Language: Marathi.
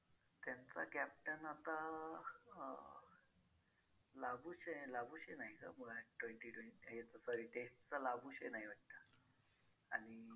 त्यांचा captain आता अं Labuschagne Labuschagne नाही का मग हा आहे twenty twenty याचा sorry test चा Labuschagne आहे वाटतं आणि